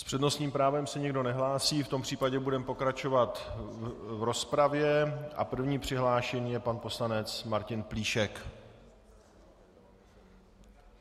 S přednostním právem se nikdo nehlásí, v tom případě budeme pokračovat v rozpravě a prvním přihlášeným je pan poslanec Martin Plíšek.